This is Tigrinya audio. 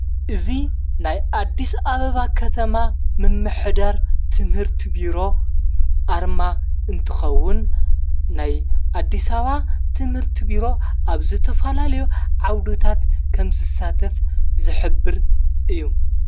እዙ ናይ ኣዲስ ኣበባ ኸተማ ምመኅዳር ትምህርቲ ቢሮ ኣርማ እንትኸውን ናይ ኣዲሳባ ትምህርቲ ቢሮ ኣብ ዘተፋላልዮ ዓውዱታት ከም ስሳተፍ ዘኅብር እዩ።